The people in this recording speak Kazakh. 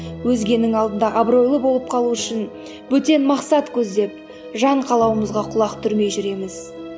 өзгенің алдында абыройлы болып қалу үшін бөтен мақсат көздеп жан қалауымызға құлақ түрмей жүреміз